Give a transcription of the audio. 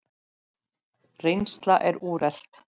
Reynsla er úrelt.